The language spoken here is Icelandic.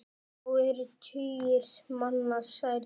Þá eru tugir manna særðir.